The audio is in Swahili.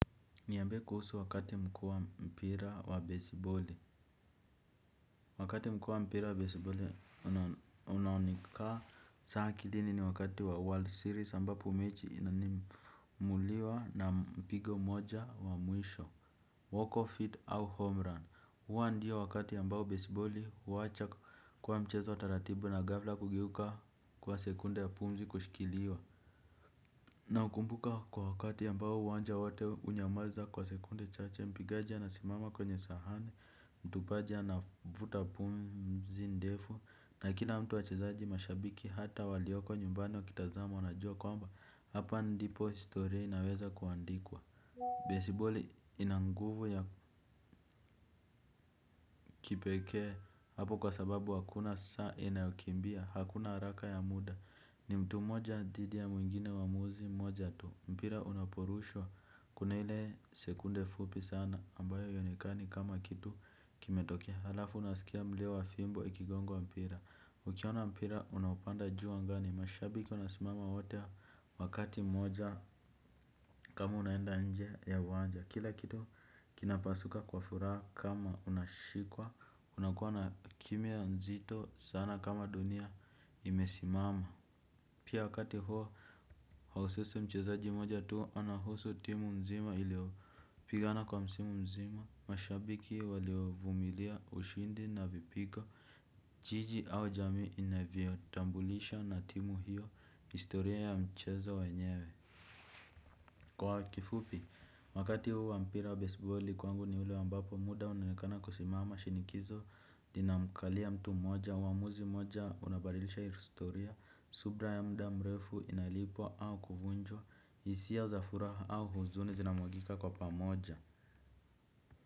Niambie kuhusu wakati mkuu wa mpira wa baseballi. Wakati mkuu wa mpira wa baseballi, unaoneka sa akilini ni wakati wa World Series ambapo mechi inanimuliwa na mpigo mmoja wa mwisho, walk of feet au homerun. Hua ndiyo wakati ambao baseball huwacha kwa mchezo wa taratibu na ghafla kugeuka kuwa sekunde ya pumzi kushikiliwa. Naukumbuka kwa wakati ambao uwanja wote hunyamaza kwa sekunde chache, mpigaji anasimama kwenye sahani, mtupaji anavuta pumzi ndefu, na kila mtu wachezaji mashabiki hata walioko nyumbani wakiitazama wanajua kwamba, hapa ndipo historia inaweza kuandikwa. Baseball ina nguvu ya kipekee hapo kwa sababu hakuna saa inayokimbia. Hakuna haraka ya muda. Ni mtu moja dhidi ya mwingine uamuzi mmoja tu. Mpira unaporushwa kuna ile sekunde fupi sana ambayo haionekani kama kitu kimetokea. Halafu unaskia mlio wa fimbo ikigongwa mpira. Ukiona mpira unaopanda juu angani mashabiki wanasimama wote wakati moja kama unaenda nje ya uwanja. Kila kitu kinapasuka kwa furaha kama unashikwa. Unakuwa na kimya nzito sana kama dunia imesimama. Pia wakati huo haususi mchezaji mmoja tu anahusu timu mzima iliopigana kwa msimu mzima. Mashabiki waliovumilia ushindi na vipigo jiji au jamii inavyotambulisha na timu hiyo historia ya mchezo wenyewe. Kwa kifupi, wakati huu wa mpira wa baseballi kwangu ni ule ambapo muda unaonekana kusimama shinikizo inamkalia mtu moja, uamuzi mmoja unabadilisha historia, subra ya muda mrefu inalipwa au kuvunjwa, hisia za furaha au huzuni zinamwagika kwa pamoja.